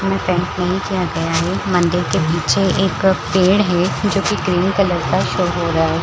दोनो पेंट में ही जेब है एक मंदिर के पीछे एक पेड़ है जो की ग्रीन कलर का शो हो रहा है ।